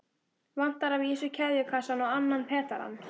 Vantar að vísu keðjukassann og annan pedalann.